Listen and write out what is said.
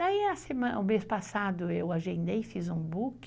Daí o mês passado eu agendei, fiz um book,